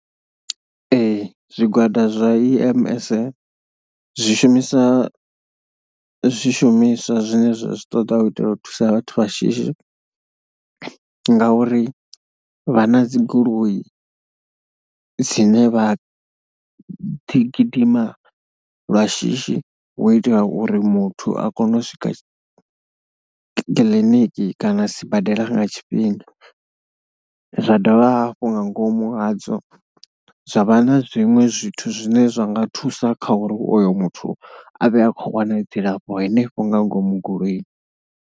Ee zwigwada zwa E_M_S zwi shumiswa, zwi shumiswa zwine zwa zwi ṱoḓa u itela u thusa vhathu vha shishi ngauri vha na dzi goloi dzine vha ḓi gidima lwa shishi hu itela uri muthu a kone u swika kiḽiniki kana sibadela nga tshifhinga. Zwa dovha hafhu nga ngomu hadzo, zwa vha na zwiṅwe zwithu zwine zwa nga thusa kha uri oyo muthu a vhe a khou wana dzilafho henefho nga ngomu goloini.